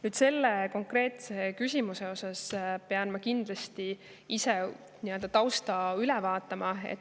Nüüd, selle konkreetse küsimuse teemal pean ma nii-öelda tausta üle vaatama.